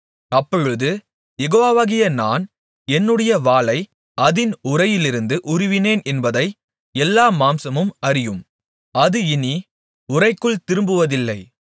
அப்பொழுது யெகோவாகிய நான் என்னுடைய வாளை அதின் உறையிலிருந்து உருவினேன் என்பதை எல்லா மாம்சமும் அறியும் அது இனி உறைக்குள் திரும்புவதில்லை